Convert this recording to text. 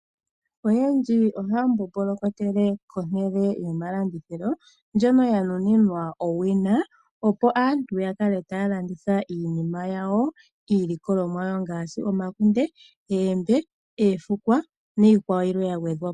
Aantu oyendji ohaya mbombolokele komahala gomalandithilo. Ngono ga nuninwa owina opo aantu ya kale haya ka landitha iilikolomwa ya wo ngaashi omakunde, oombe, oofukwa niikwawo yimwe ya gwedhwa po.